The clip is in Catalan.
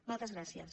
moltes gràcies